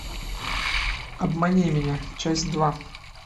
обмани меня часть два